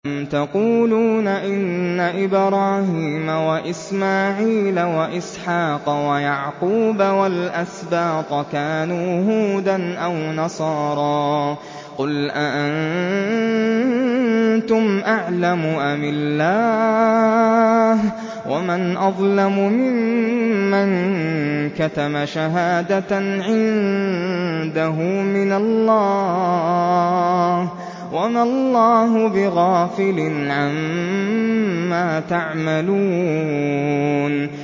أَمْ تَقُولُونَ إِنَّ إِبْرَاهِيمَ وَإِسْمَاعِيلَ وَإِسْحَاقَ وَيَعْقُوبَ وَالْأَسْبَاطَ كَانُوا هُودًا أَوْ نَصَارَىٰ ۗ قُلْ أَأَنتُمْ أَعْلَمُ أَمِ اللَّهُ ۗ وَمَنْ أَظْلَمُ مِمَّن كَتَمَ شَهَادَةً عِندَهُ مِنَ اللَّهِ ۗ وَمَا اللَّهُ بِغَافِلٍ عَمَّا تَعْمَلُونَ